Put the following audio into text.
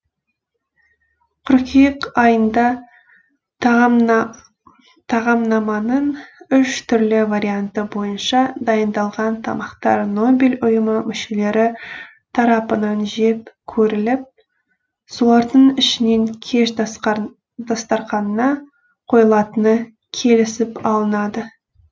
қыркүйек айында тағамнаманың үш түрлі варианты бойынша дайындалған тамақтар нобель ұйымы мүшелері тарапынан жеп көріліп солардың ішінен кеш дастарқанына қойылатыны келісіп алынады